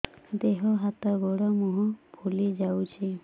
ଦେହ ହାତ ଗୋଡୋ ମୁହଁ ଫୁଲି ଯାଉଛି